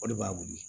O de b'a wuli